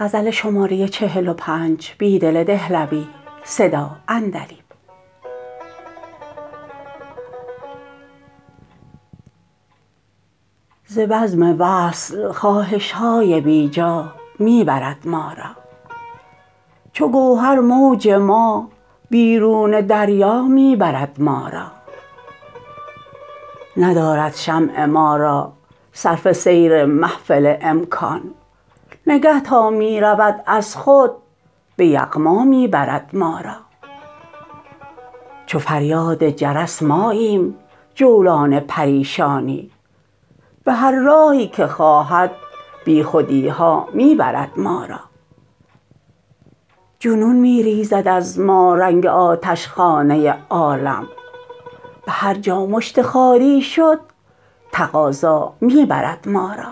ز بزم وصل خواهش های بی جا می برد ما را چو گوهر موج ما بیرون دریا می برد ما را ندارد شمع ما را صرفه سیر محفل امکان نگه تا می رود از خود به یغما می برد ما را چو فریاد جرس ماییم جولان پریشانی به هر راهی که خواهد بی خودی ها می برد ما را جنون می ریزد از ما رنگ آتشخانه عالم به هرجا مشت خاری شد تقاضا می برد ما را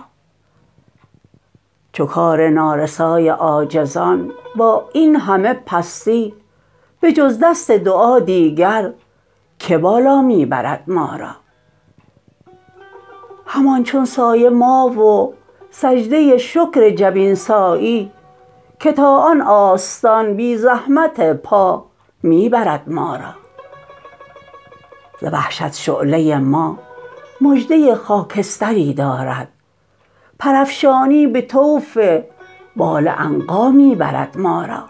چو کار نارسای عاجزان با اینهمه پستی به جز دست دعا دیگر که بالا می برد ما را همان چون سایه ما و سجده شکر جبین سایی که تا آن آستان بی زحمت پا می برد ما را ز وحشت شعله ما مژده خاکستری دارد پرافشانی به طوف بال عنقا می برد ما را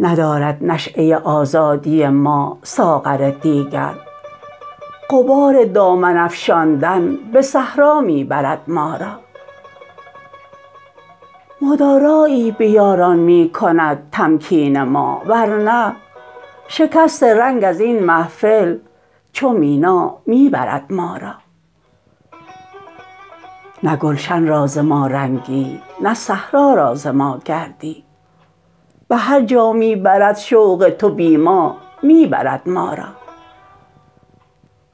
ندارد نشیه آزادی ما ساغر دیگر غبار دامن افشاندن به صحرا می برد ما را مدارایی به یاران می کند تمکین ما ورنه شکست رنگ از این محفل چو مینا می برد ما را نه گلشن را ز ما رنگی نه صحرا را ز ما گردی به هرجا می برد شوق تو بی ما می برد ما را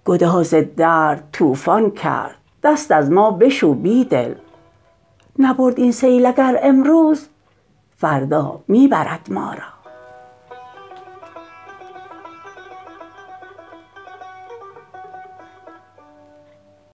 گداز درد طوفان کرد دست از ما بشو بیدل نبرد این سیل اگر امروز فردا می برد ما را